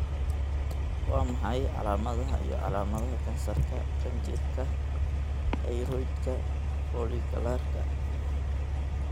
Waa maxay calaamadaha iyo calaamadaha kansarka qanjirka thyroidka, follicularka?